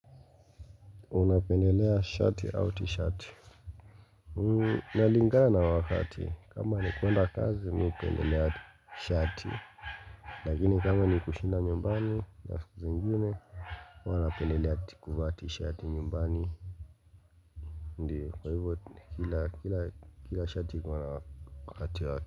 Unapendelea shati au tishati inalingana na wakati, kama ni kuenda kazi mimi upendelea shati Lakini kama ni kushinda nyumbani na siku zingine huwa napendelea kuvaa tishati nyumbani Ndio kwa hivyo kila shati kwa wakati wake.